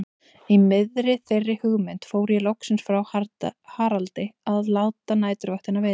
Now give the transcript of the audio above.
Í miðri þeirri hugmynd fór ég loksins frá Haraldi að láta næturvaktina vita.